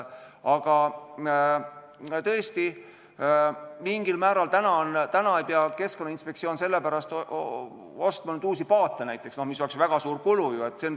Aga tõesti, Keskkonnainspektsioon ei pea sellepärast ostma näiteks uusi paate, mis oleks väga suur kulu.